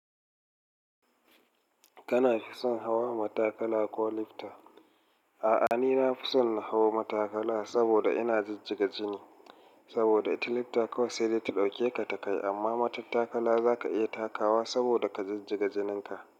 Kana fi son hawa matakala ko lifta? A'a, ni nafi son na hau matakala saboda in jijjiga jini. Saboda ita lifta kawai sai dai ta ɗauke ka ta kai. Amma matattakala zaka iya takawa saboda ka jijjiga jininka.